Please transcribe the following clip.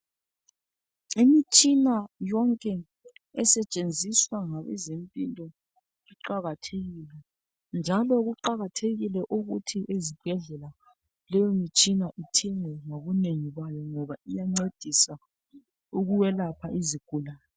Imitshina yonke esetshenziswa ngabezempilo kuqakathekile njalo kuqakathekile ukuthi ezibhedlela leyo mitshina ithinwe ngokunengi kwayo ngoba iyancedisa ukwelapha izigulane